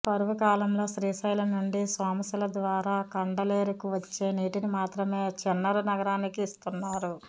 కరువు కాలంలో శ్రీశైలం నుండి సోమశిల ద్వారా కండలేరుకు వచ్చే నీటిని మాత్రమే చెన్నరు నగరానికి ఇస్తున్నారు